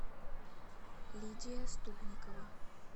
лидия ступникова